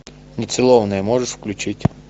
нецелованная можешь включить